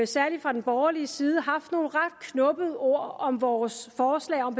særlig fra den borgerlige side haft nogle ret knubbede ord om vores forslag om